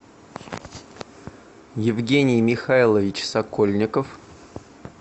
евгений михайлович сокольников